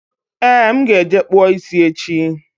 Ee, m ga-eje kpụọ ịsị echi